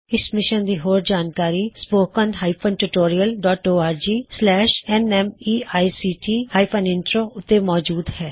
ਇਸ ਮਿਸ਼ਨ ਦੀ ਹੋਰ ਜਾਣਕਾਰੀ spoken tutorialorgnmeict ਇੰਟਰੋ ਉੱਤੇ ਮੌਜੂਦ ਹੈ